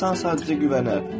İnsan sadəcə güvənər.